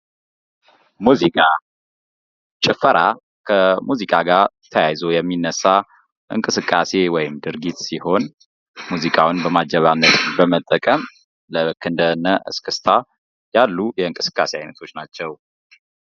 ሙዚቃ የመዝናኛ፣ የፈውስና የመንፈሳዊ እርካታ ምንጭ በመሆን የዕለት ተዕለት ጭንቀትን ያስወግዳል እንዲሁም የአእምሮ ሰላምን ያጎናጽፋል።